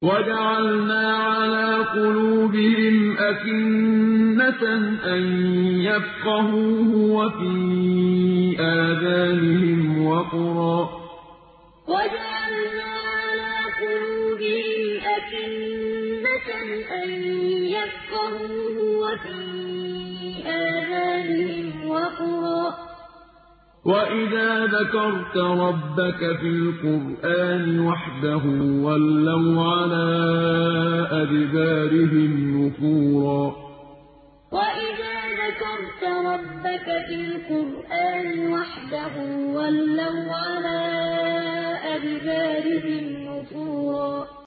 وَجَعَلْنَا عَلَىٰ قُلُوبِهِمْ أَكِنَّةً أَن يَفْقَهُوهُ وَفِي آذَانِهِمْ وَقْرًا ۚ وَإِذَا ذَكَرْتَ رَبَّكَ فِي الْقُرْآنِ وَحْدَهُ وَلَّوْا عَلَىٰ أَدْبَارِهِمْ نُفُورًا وَجَعَلْنَا عَلَىٰ قُلُوبِهِمْ أَكِنَّةً أَن يَفْقَهُوهُ وَفِي آذَانِهِمْ وَقْرًا ۚ وَإِذَا ذَكَرْتَ رَبَّكَ فِي الْقُرْآنِ وَحْدَهُ وَلَّوْا عَلَىٰ أَدْبَارِهِمْ نُفُورًا